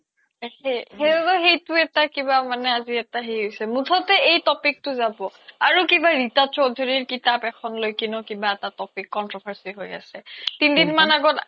একে সেইবাবে সেইটো এটা কিবা মানে আজি এটা সেই হৈছে মুথোতে এই topic টো যাব আৰু কিবা ৰিতা চৌধৰ্যিৰ কিতাপ এখন লৈ কিনেও কিবা এটা topic controversy হয় আছে তিন দিন মান আগত